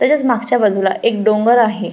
तसेच मागच्या बाजुला एक डोंगर आहे.